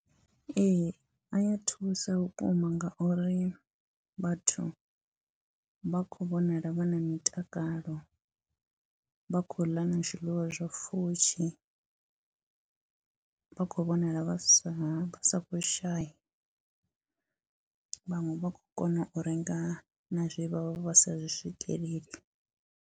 Ee, a ya thusa vhukuma ngauri vhathu vha khou vhonala vha na mitakalo, vha khou ḽa na zwiḽiwa zwa pfhushi, vha khou vhonala vha sa vha sa khou shaya, vhaṅwe vha khou kona u renga na zwe vha vha vha sa zwi swikeleli.